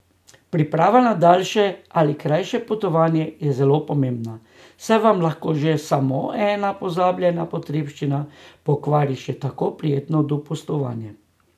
Priprava na daljše ali krajše potovanje je zelo pomembna, saj vam lahko že samo ena pozabljena potrebščina pokvari še tako prijetno dopustovanje.